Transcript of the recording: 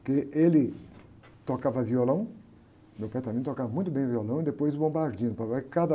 Porque ele tocava violão, meu pai também tocava muito bem violão, e depois o bombardino, papai em cada...